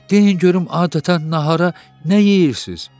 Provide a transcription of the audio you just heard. deyin görüm adətən nahara nə yeyirsiz?